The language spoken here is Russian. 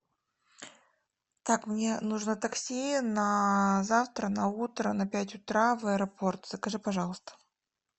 так мне нужно такси на завтра на утро на пять утра в аэропорт закажи пожалуйста